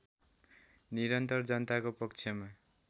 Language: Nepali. निरन्तर जनताको पक्षमा